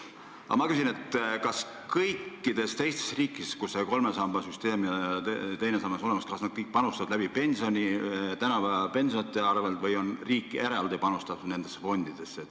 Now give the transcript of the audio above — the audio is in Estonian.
Kas kõikides teistes riikides, kus see kolme samba süsteem ja teine sammas on olemas, panustatakse läbi pensioni, tänapäeva pensionäride arvel, või on riik eraldi panustanud nendesse fondidesse?